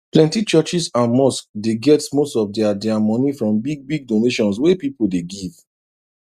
plenty churches and mosques dey get most of dia dia money from big big donations wey people dey give